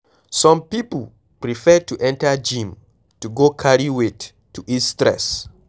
Some pipo prefer to enter gym to go carry weight to ease stress